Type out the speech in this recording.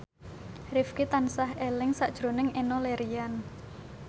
Rifqi tansah eling sakjroning Enno Lerian